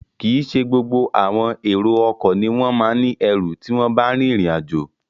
Kìí ṣe gbogbo àwọn èrò ọkọ̀ ni wọ́n ma ń ní ẹrù tí wọ́n bá rìnrìn àjò